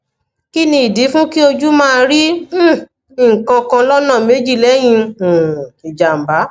kini idi fun ki oju ma ri um nkan kan lona meji leyi um ijamba